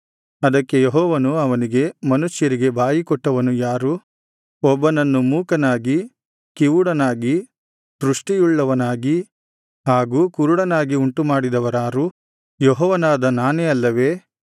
ಅದಕ್ಕೆ ಯೆಹೋವನು ಅವನಿಗೆ ಮನುಷ್ಯರಿಗೆ ಬಾಯಿಕೊಟ್ಟವನು ಯಾರು ಒಬ್ಬನನ್ನು ಮೂಕನಾಗಿ ಕಿವುಡನಾಗಿ ದೃಷ್ಠಿಯುಳ್ಳವನಾಗಿ ಹಾಗೂ ಕುರುಡನಾಗಿ ಉಂಟುಮಾಡಿದವನಾರು ಯೆಹೋವನಾದ ನಾನೇ ಅಲ್ಲವೇ